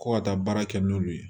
Ko ka taa baara kɛ n'olu ye